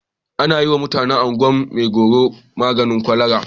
Ana yiwa mutanen Ungwan maigero maganin kwalara.